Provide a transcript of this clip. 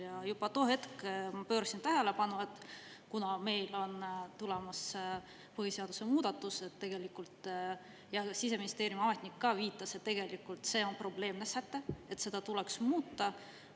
Ja juba too hetk ma pöörasin tähelepanu, et kuna meil on tulemas põhiseaduse muudatused, tegelikult Siseministeeriumi ametnik ka viitas, et tegelikult see on probleemne säte, et seda tuleks muuta.